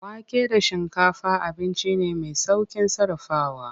Wake da shinkafa abinci ne mai saukin sarrafawa.